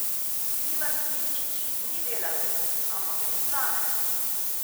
Ivan Simčič ni delavec, ampak je poslanec.